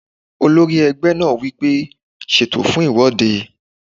Olórí ẹgbẹ́ náà wí pé "ẹ ṣètò fún ìwọ́de!"